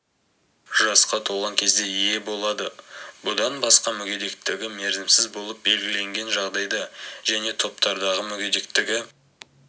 жасқа толған кезде ие болады бұдан басқа мүгедектігі мерзімсіз болып белгіленген жағдайда және топтардағы мүгедектігі